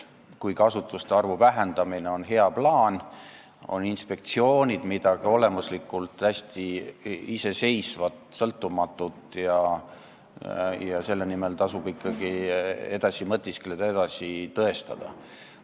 Kuigi asutuste arvu vähendamine on hea plaan, on inspektsioonid midagi olemuslikult hästi iseseisvat, sõltumatut, ja selle säilimise nimel tasub ikkagi edasi mõtiskleda ja seda tõestada.